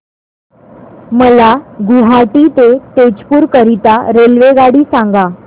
मला गुवाहाटी ते तेजपुर करीता रेल्वेगाडी सांगा